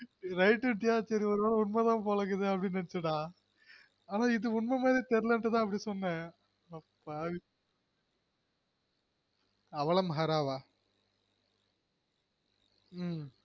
right ந்னுட்டியா சரி ஒரு வேள உண்மதாம்போலக்குது அப்படீன்னு நினச்சண்டா ஆனா இது உண்மமாதிரி தெர்லன்னுட்டுதான் அப்படி சொன்னெ அடப்பாவி அவல மஹராவா